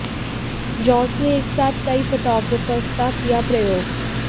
Jones ने एक साथ कई फोटोग्राफ्स का किया प्रयोग